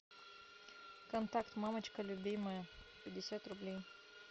контакт мамочка любимая пятьдесят рублей